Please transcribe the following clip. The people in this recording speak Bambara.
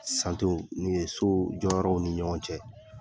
min ye so jɔ yɔrɔw ni ɲɔgɔn cɛ